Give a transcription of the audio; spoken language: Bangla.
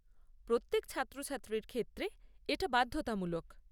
প্রত্যেক ছাত্রছাত্রীর ক্ষেত্রে এটা বাধ্যতামূলক।